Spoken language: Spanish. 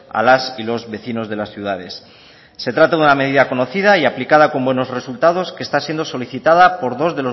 a las y los vecinos de las ciudades se trata de una medida conocida y aplicada con buenos resultados que está siendo solicitada por dos